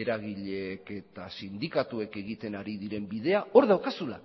eragileek eta sindikatuek egiten ari diren bidea hor daukazula